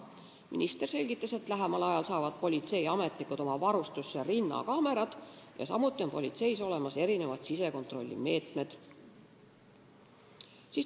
Minister selgitas, et lähemal ajal saavad politseiametnikud oma varustusse rinnakaamerad, samuti on politseis olemas erinevad sisekontrollivõimalused.